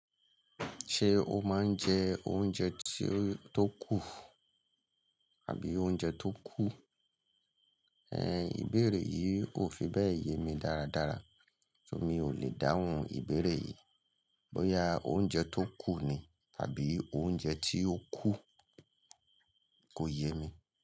Ṣé o máa ń jẹ oúnjẹ tí ó tó kù àbí oúnjẹ tó kú? Ìbéèrè yìí kò fi bẹ́ẹ̀ yé mi dáradára, so mi ò lè dáhùn ìbéèrè yìí. Bóyá oúnjẹ tó kù ni tàbí oúnjẹ tí ó kú, kò yé mi.